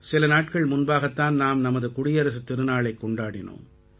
சில நாட்கள் முன்பாகத் தான் நாம் நமது குடியரசுத் திருநாளைக் கொண்டாடினோம்